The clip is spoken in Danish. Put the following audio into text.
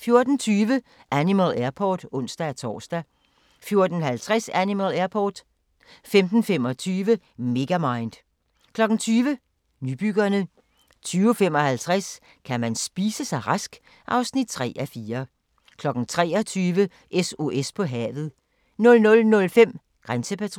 14:20: Animal Airport (ons-tor) 14:50: Animal Airport 15:25: Megamind 20:00: Nybyggerne 20:55: Kan man spise sig rask? (3:4) 23:00: SOS på havet 00:05: Grænsepatruljen